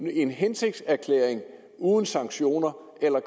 en hensigtserklæring uden sanktioner eller